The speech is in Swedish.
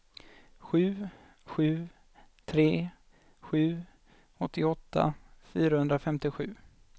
sju sju tre sju åttioåtta fyrahundrafemtiosju